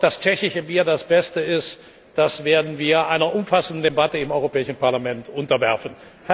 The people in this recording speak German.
Ob das tschechische Bier das beste ist, das werden wir einer umfassenden Debatte im Europäischen Parlament unterwerfen.